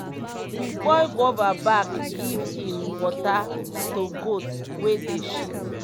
we boil guava back give im water to goat wey dey shit.